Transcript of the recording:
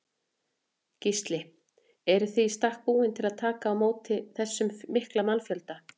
Gísli: Eruð þið í stakk búnir til að taka á móti þessum mikla mannfjölda?